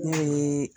Ne ye